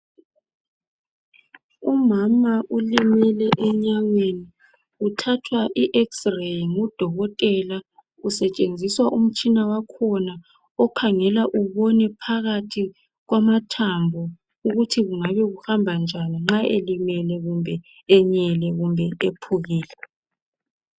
Umama ulimele enyaweni uthathwa i ex ray ngudokotela kusetshenziswa umtshina wakhona okhangela ubone phakathi kwamathambo ukuthi kungabe kuhamba njani nxa elimele, kumbe enyele kumbe ephukile.